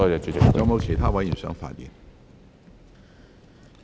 是否有其他委員想發言？